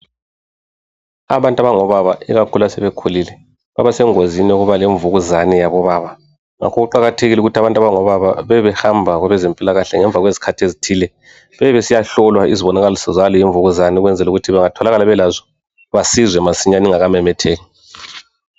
Abantu abango baba ikakhulu asebe khulile baba basengozini yokuba lemvukuzane ikakhulu eyabo baba, ngakho kuqakathekile ukuthi abantu abango baba bebe behamba kwabezempilakahle ngemva kwezikhathi ezithile, bebe besiyahlolwa izibonakaliso zaleyi imvukuzane ukuze bengatholakala belazo besizwe masinya ingaka memetheki.